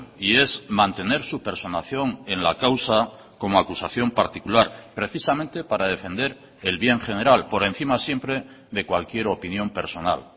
y es mantener su personación en la causa como acusación particular precisamente para defender el bien general por encima siempre de cualquier opinión personal